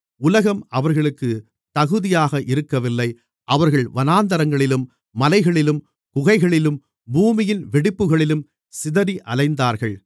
உலகம் அவர்களுக்குத் தகுதியாக இருக்கவில்லை அவர்கள் வனாந்திரங்களிலும் மலைகளிலும் குகைகளிலும் பூமியின் வெடிப்புகளிலும் சிதறி அலைந்தார்கள்